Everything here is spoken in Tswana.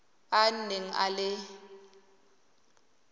a a neng a le